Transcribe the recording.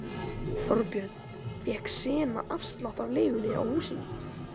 Þorbjörn: Fékk Sena afslátt af leigunni á húsinu?